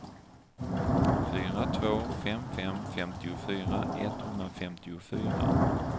fyra två fem fem femtiofyra etthundrafemtiofyra